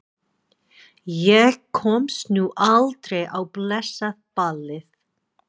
Ég komst nú aldrei á blessað ballið.